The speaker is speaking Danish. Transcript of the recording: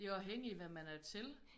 Det er afhængig hvad man er til